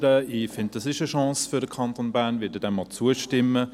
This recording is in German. Ich finde, das sei eine Chance für den Kanton Bern, und ich werde ihm auch zustimmen.